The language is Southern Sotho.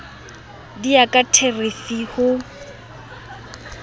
di ya ka therifi ho